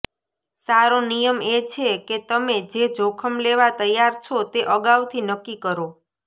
સારો નિયમ એ છે કે તમે જે જોખમ લેવા તૈયાર છો તે અગાઉથી નક્કી કરો